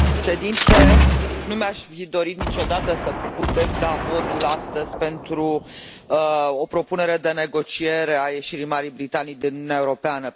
Domnule președinte, nu mi aș fi dorit niciodată să putem da votul astăzi pentru o propunere de negociere a ieșirii Marii Britanii din Uniunea Europeană.